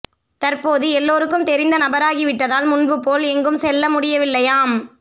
தற்போது எல்லாருக்கும் தெரிந்த நபராகிவிட்டதால் முன்பு போல் எங்கும் செல்ல முடியவில்லையாம்